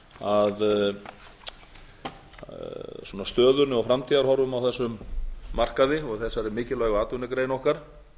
ræðu minni að stöðunni og framtíðarhorfum á þessum markaði og þessari mikilvægu atvinnugrein okkar